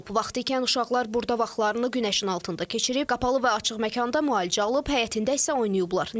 Vaxtikən uşaqlar burda vaxtlarını günəşin altında keçirib, qapalı və açıq məkanda müalicə alıb, həyətində isə oynayıblar.